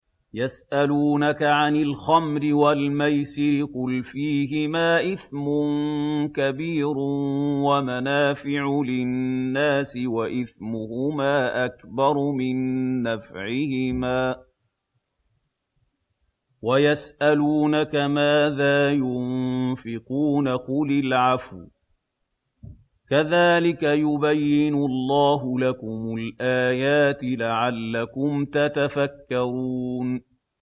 ۞ يَسْأَلُونَكَ عَنِ الْخَمْرِ وَالْمَيْسِرِ ۖ قُلْ فِيهِمَا إِثْمٌ كَبِيرٌ وَمَنَافِعُ لِلنَّاسِ وَإِثْمُهُمَا أَكْبَرُ مِن نَّفْعِهِمَا ۗ وَيَسْأَلُونَكَ مَاذَا يُنفِقُونَ قُلِ الْعَفْوَ ۗ كَذَٰلِكَ يُبَيِّنُ اللَّهُ لَكُمُ الْآيَاتِ لَعَلَّكُمْ تَتَفَكَّرُونَ